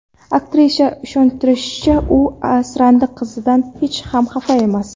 Aktrisa ishontirishicha, u asrandi qizidan hech ham xafa emas.